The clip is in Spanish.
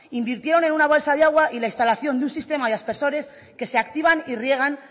invirtieron en una balsa de agua y la instalación de un sistema de aspersores que se activan y riegan